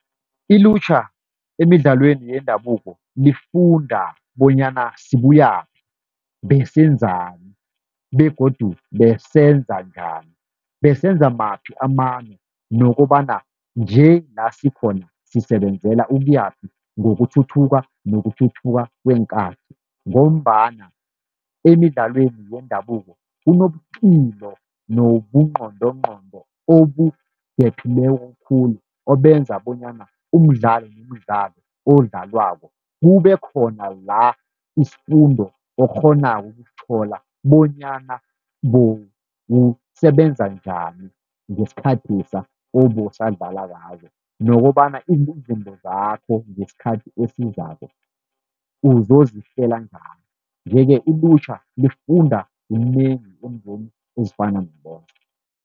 Ilutjha emidlalweni yendabuko lifunda bonyana sibuyaphi, besenzani begodu besenza njani, besenza maphi amano nokobana nje la sikhona sisebenzela ukuyaphi ngokuthuthuka nokuthuthuka kweenkathi. Ngombana emidlalweni yendabuko kunobukilo nobungqondongqondo obudephileko khulu, obenza bonyana umdlalo nomdlalo odlalwako kube khona la isifundo okghonako ukusithola, bonyana bewusebenza njani ngesikhathesa obowusadlala , nokobana izinto zakho ngesikhathi esizako uzozihlela njani. Nje-ke ilutjha lifunda kunengi eentweni ezifana nalezo.